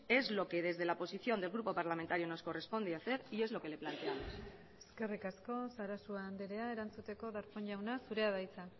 es lo que desde la oposición del grupo parlamentario nos corresponde hacer y es lo que le planteamos eskerrik asko sarasua andrea erantzuteko darpón jauna zurea da hitza